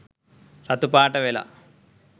රතු පාට වෙලා